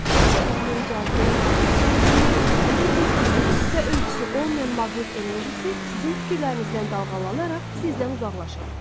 Sizdə əriyən cazibə enerjisi dünyada ən güclüsüdür və ölçüsü olmayan maqnet enerjisi sizin fikirlərinizdən dalğalanaraq sizdən uzaqlaşır.